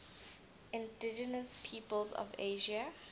indigenous peoples of asia